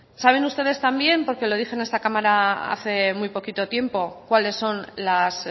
saben ustedes también porque lo dije en esta cámara hace muy poquito tiempo cuáles son las